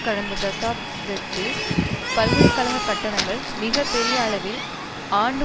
கடந்த தசாப்தத்தில் பல்கலை கழக கட்டணங்கள் மிக பெரிய அளவில் ஆண்டு